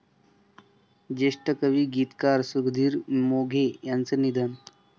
ज्येष्ठ कवी, गीतकार सुधीर मोघे यांचं निधन